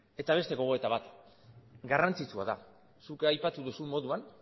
eta beste gogoeta bat garrantzitsua da zuk aipatu duzun moduan